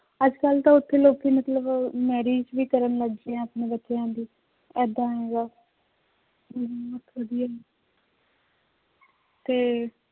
ਅੱਜ ਕੱਲ੍ਹ ਤਾਂ ਉੱਥੇ ਲੋਕੀ ਮਤਲਬ marriage ਵੀ ਕਰਨ ਲੱਗ ਗਏ ਹੈ ਆਪਣੇ ਬੱਚਿਆਂ ਦੀ, ਏਦਾਂ ਹੈਗਾ ਬਹੁਤ ਵਧੀਆ ਤੇ